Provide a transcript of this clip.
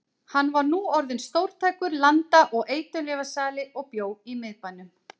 Hann var nú orðinn stórtækur landa- og eiturlyfjasali og bjó í miðbænum.